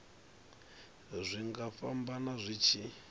zwi nga fhambana zwi tshi